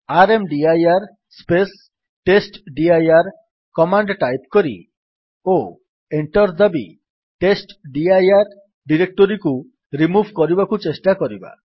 ର୍ମଦିର space testdir command type କରି ଓ enter ଦାବି ଟେଷ୍ଟଡିର ଡିରେକ୍ଟୋରୀକୁ ରିମୁଭ୍ କରିବାକୁ ଚେଷ୍ଟା କରିବା